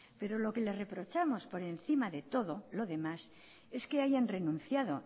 pero lo que le reprochamos por encima de todo lo demás es que hayan renunciado